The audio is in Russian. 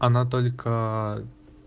она только